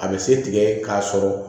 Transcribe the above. A bɛ se tigɛ k'a sɔrɔ